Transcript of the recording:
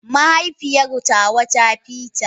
Mahaifiyar tawa ta fita.